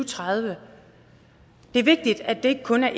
tredive det er vigtigt at det ikke kun er